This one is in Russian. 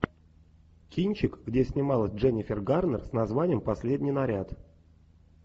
кинчик где снималась дженнифер гарнер с названием последний наряд